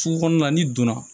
Sugu kɔnɔna n'i donna